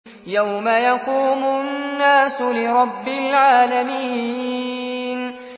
يَوْمَ يَقُومُ النَّاسُ لِرَبِّ الْعَالَمِينَ